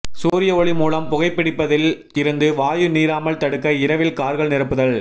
சூரிய ஒளி மூலம் புகைப்பிடிப்பதில் இருந்து வாயு நீராமல் தடுக்க இரவில் கார்கள் நிரப்புதல்